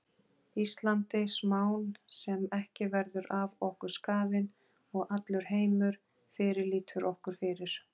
Íslandi smán sem ekki verður af okkur skafin og allur heimur fyrirlítur okkur fyrir.